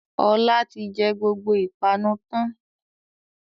Ọlá ti jẹ gbogbo ìpanu tán